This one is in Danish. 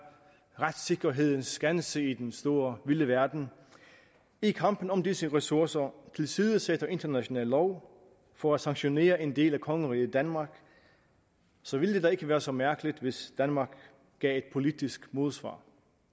retssikkerhedens skanse i den store vilde verden i kampen om disse ressourcer tilsidesætter international lov for at sanktionere en del af kongeriget danmark så ville det da ikke være så mærkeligt hvis danmark gav et politisk modsvar